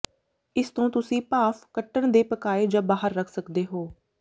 ਇਸ ਤੋਂ ਤੁਸੀਂ ਭਾਫ਼ ਕੱਟਣ ਦੇ ਪਕਾਏ ਜਾਂ ਬਾਹਰ ਰੱਖ ਸਕਦੇ ਹੋ